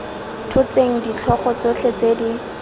tshotseng ditlhogo tsotlhe tse di